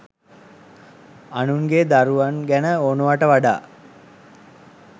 අනුන්ගේ දරුවන් ගැන ඕනෑවට වඩා